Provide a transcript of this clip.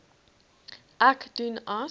ek doen as